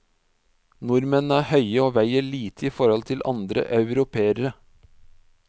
Nordmenn er høye og veier lite i forhold til andre europeere.